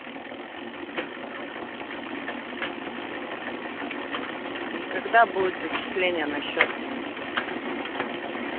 когда будет зачисление на счёт